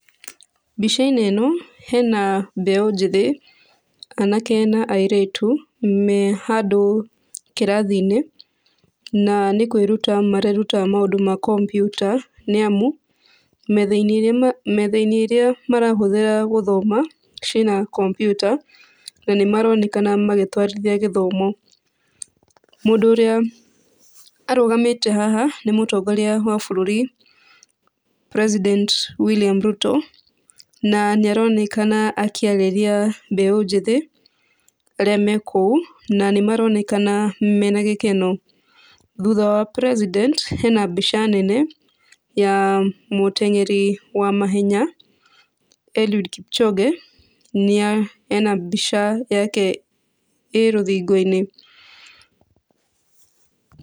Mbica-inĩ ĩno hena mbeũ njĩthĩ, anake na airĩtu me handũ kĩrathi-inĩ na nĩ kwĩruta mareruta mũndũ ma kompiuta nĩ amu, metha-inĩ ĩrĩa, metha-inĩ ĩrĩa marahũthĩra gũthoma ciĩna kompiuta, na nĩmaronekana magĩtwarithia gĩthomo. Mũndũ ũrĩa arũgamĩte haha nĩ mũtongoria wa bũrũri president Williama Ruto, na nĩaronekana akĩarĩria mbeũ njĩthĩ arĩa mekũu na nĩmaronekana mena gĩkeno. Thutha wa president hena mbica nene ya mũteng'eri wa mahenya Eliud Kipchoge nĩa, hena mbica yake ĩ rũthingo-inĩ.